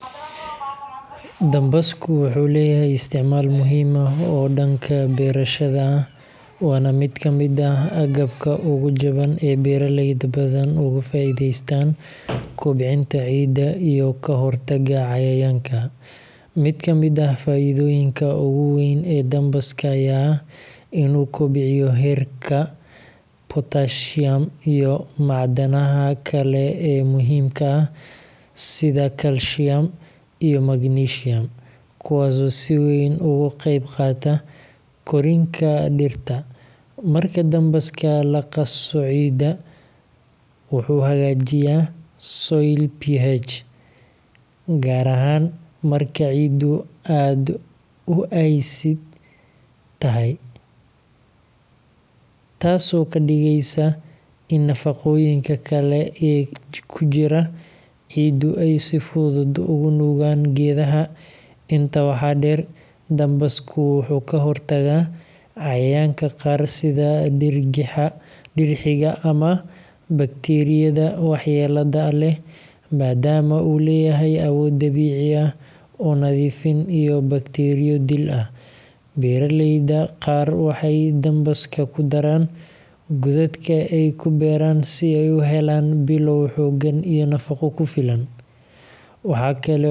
Dambaska wuxuu leeyahay isticmaal muhiim ah oo beeralayda ah. Waa mid ka mid ah agabka ugu jaban oo beeraleydu badanaa ay ka faa’iideystaan kobcinta ciidda iyo ka hortagga cayayaanka. Mid ka mid ah faa’iidooyinka ugu weyn ee dambaska ayaa ah in uu kobciyo heerka potassium iyo macdanta kale ee muhiimka ah sida calcium iyo magnesium, kuwaas oo si weyn uga qeyb qaata koritaanka dhirta. Marka dambaska lagu qaso ciidda, wuxuu hagaajiyaa soil pH, gaar ahaan marka ciiddu aad u acid tahay. Tani waxay ka dhigeysaa in nafaqooyinka kale ee ku jira carrada ay geeduhu si fudud ugu nuugaan. Intaa waxaa dheer, dambaska wuxuu ka hortagaa cayayaanka qaar sida diir gacmaha, dixiriga, ama bakteeriyada waxyeellada leh, maadaama uu leeyahay awood dabiici ah oo nadiifin iyo baktcteria-dil ah. Beeraleyda qaar waxay dambaska ku daraan godadka ay ku beeraan si ay u helaan bilow xooggan.